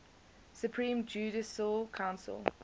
supreme judicial council